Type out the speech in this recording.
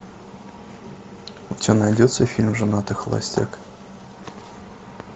у тебя найдется фильм женатый холостяк